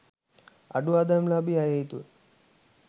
අඩු ආදායම්ලාභී අය හේතුව